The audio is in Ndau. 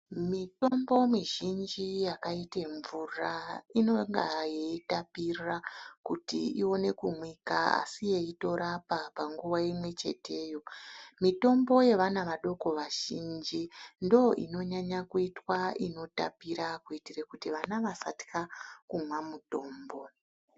Mitombo mizhinji yakaite mvura inonga yeitapira kuti ione kumwika asi yeitorapa panguwa imwecheteyo. Mitombo yevana vadoko vazhinji ndoinonyanya kuitwa inotapira Kuitira kuti vana vasanyanya kutya kumwa mutombo.